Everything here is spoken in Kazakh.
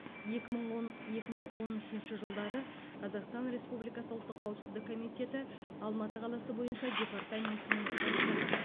екі мың он екі мың он үшінші жылдары қазақстан республикасы ұлттық қауіпсіздік комитеті алматы қаласы бойынша департаментінің бастығы